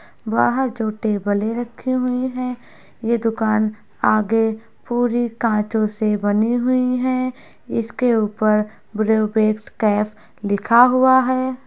बाहर जो टेबले रखी हुई है ये दुकान आगे पूरी कंचो से बनी हुई है इसके ऊपर ब्रू बेक्स कैफे लिखा हुआ है।